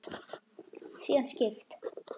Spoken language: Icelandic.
Síðan skipt